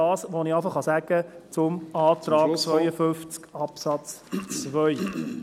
Das ist, was ich bereits zum Antrag zu Artikel 52 Absatz 2 sagen kann.